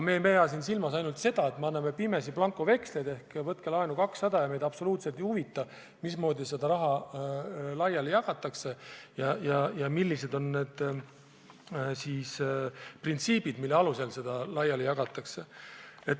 Me ei pea siin silmas ainult seda, et me anname pimesi blankoveksleid, et võtke laenu 200 miljonit ja meid absoluutselt ei huvita, mismoodi seda raha laiali jagatakse, millised on need printsiibid, mille alusel seda laiali jagatakse.